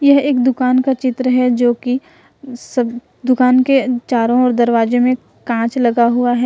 यह एक दुकान का चित्र है जोकि दुकान के चारों ओर दरवाजे में कांच लगा हुआ है।